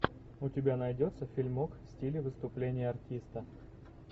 у тебя найдется фильмок в стиле выступления артиста